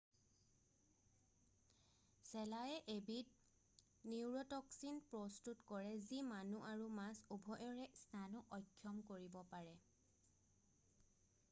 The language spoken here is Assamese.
শেলায়ে এবিধ নিউৰোটক্সিন প্ৰস্তুত কৰে যি মানুহ আৰু মাছ উভয়ৰে স্নায়ু অক্ষম কৰিব পাৰে